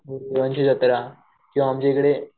देवांची जत्रा किंवा आमच्याकडे